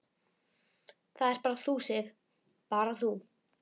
Það ert bara þú, Sif. bara þú.